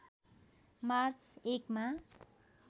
March १ मा